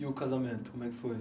E o casamento, como é que foi?